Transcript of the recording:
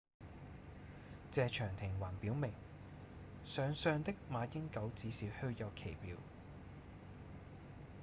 謝長廷還表明上相的馬英九只是虛有其表